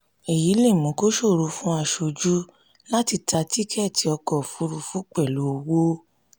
èyí lè mú kó ṣòro fún aṣojú láti ta tikẹ́tì ọkọ̀ òfuurufú pẹlu owó.